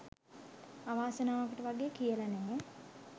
අවාසනාවකට වගේ කියලා නෑ